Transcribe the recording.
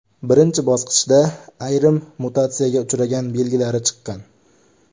Birinchi bosqichda ayrim mutatsiyaga uchragan belgilari chiqqan.